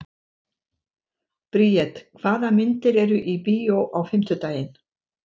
Briet, hvaða myndir eru í bíó á fimmtudaginn?